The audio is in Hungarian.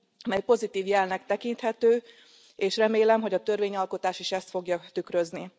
mely pozitív jelnek tekinthető, és remélem, hogy a törvényalkotás is ezt fogja tükrözni.